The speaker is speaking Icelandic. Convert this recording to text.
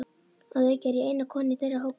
Að auki er ég eina konan í þeirra hópi.